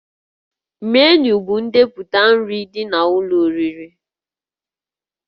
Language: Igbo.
Menu bụ ndepụta nri ndị dị n'ụlọ oriri